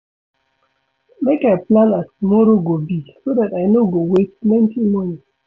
Make I plan as tomorrow go be so dat I no go waste plenty moni.